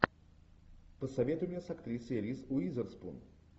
посоветуй мне с актрисой риз уизерспун